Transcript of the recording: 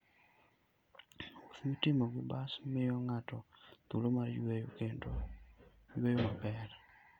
Wuoth mitimo gi bas miyo ng'ato thuolo mar yueyo kendo yueyo maber.